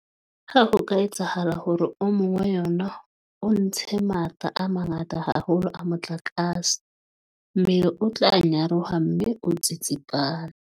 Ha ho ka etsahala hore o mong wa yona o ntshe matla a mangata haholo a motlakase, mmele o tla nyaroha mme o tsitsipane.